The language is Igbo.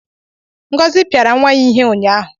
Ngozi piara nwa ya ihe ụnyahụ.